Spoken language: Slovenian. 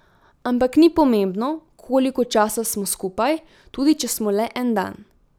Ampak ni pomembno, koliko časa smo skupaj, tudi če smo le en dan.